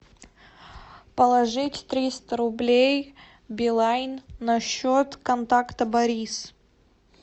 положить триста рублей билайн на счет контакта борис